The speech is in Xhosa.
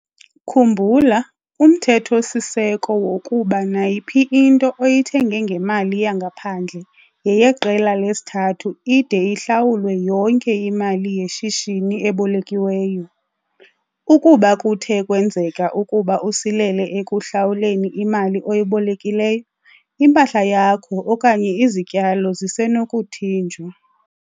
Khumbula umthetho-siseko wokuba nayiphi into oyithenge ngemali yangaphandle yeyeqela lesithathu ide ihlawulwe yonke imali yeshishini ebolekiweyo. Ukuba kuthe kwenzeka ukuba usilele ekuhlawuleni imali oyibolekileyo, impahla yakho okanye izityalo zisenokuthinjwa.